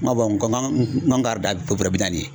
Ŋɔ n kɔ k'an ŋɔn kar da fo bɔrɔ bi naani ye